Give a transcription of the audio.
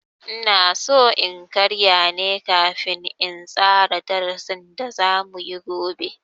Inaso in karya ne kafin in tsara darasin da za muyi gobe.